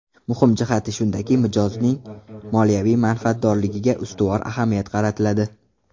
Muhim jihati shundaki, mijozning moliyaviy manfaatdorligiga ustuvor ahamiyat qaratiladi.